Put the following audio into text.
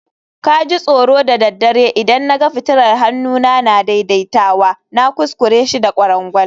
ka ji tsoro da daddare idan na ga fitilar hannuna na daidaitawa, na kuskure shi da kwarangwal